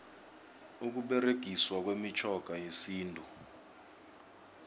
ukuberegiswa kwemitjhoga yesintu